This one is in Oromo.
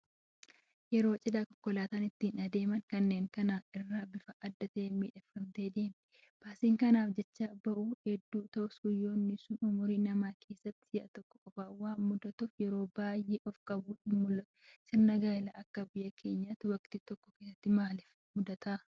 Yeroo Cidhaa konkolaataan ittiin deeman kanneen kaan irraa bifa addaatiin miidhagfamtee deemti. Baasiin kanaaf jecha bahu hedduu ta'us, guyyaan sun ummurii namaa keessatti si'a tokko qofa waan mudatuuf yeroo baay'ee of-qabuun hinmul'atu. Sirni gaayilaa akka biyya keenyaatti waktii tokko keessa maaliif heddummata?